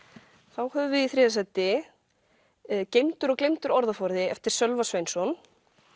þá höfum við í þriðja sæti geymdur og gleymdur orðaforði eftir Sölva Sveinsson